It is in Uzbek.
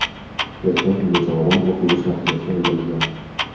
Erkak unga javoban o‘q uzish natijasida o‘ldirilgan.